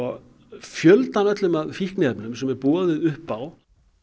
fjöldan allan af fíkniefnum sem er boðið upp á